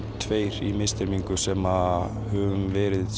tveir í misþyrmingu sem höfum verið